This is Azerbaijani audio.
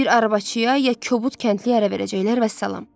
Bir arabçıya ya kobud kəndliyə ərə verəcəklər, vəssalam.